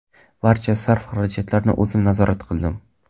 Barcha sarf-xarajatlarni o‘zim nazorat qildim.